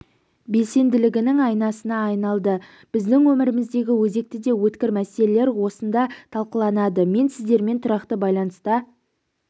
белсенділігінің айнасына айналды біздің өміріміздегі өзекті де өткір мәселелер осында талқыланады мен сіздермен тұрақты байланыста